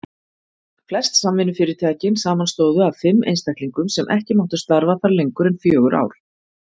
Flest samvinnufyrirtækin samanstóðu af fimm einstaklingum sem ekki máttu starfa þar lengur en fjögur ár.